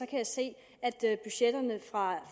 kan jeg se at budgetterne